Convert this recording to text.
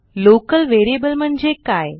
local variable म्हणजे काय